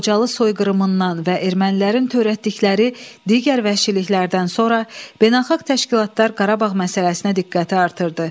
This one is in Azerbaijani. Xocalı soyqırımından və ermənilərin törətdikləri digər vəhşiliklərdən sonra beynəlxalq təşkilatlar Qarabağ məsələsinə diqqəti artırdı.